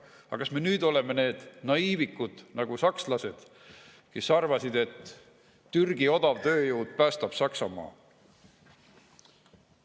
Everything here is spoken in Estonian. Aga kas me nüüd oleme naiivikud nagu sakslased, kes arvasid, et Türgi odav tööjõud päästab Saksamaa?